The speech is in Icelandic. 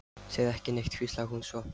Segðu ekki neitt, hvíslaði hún svo.